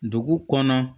Dugu kɔnɔ